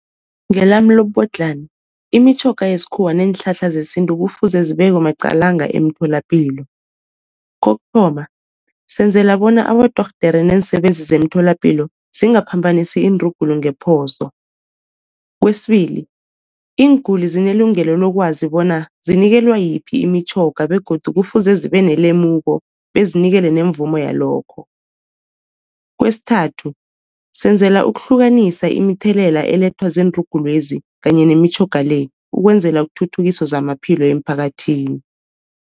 Ngelami lobubodlhana imitjhoga yesikhuwa neenhlahla zesintu kufuze zibekwe maqalanga emtholapilo. Kokuthoma senzela bona abodorhodere neensebenzi zemtholapilo zingaphambanisi iinrugulu ngephoso. Kwesibili iinguli zinelungelo lokwazi bona zinikelwa yiphi imitjhoga begodu kufuze zibe nelemuko bezinikele nemvumo yalokho. Kwesithathu senzela ukuhlukanisa imithelela elethwa ziinrugulwezi kanye nemitjhoga le, ukwenzela kuthuthukiswe zamaphilo emphakathini.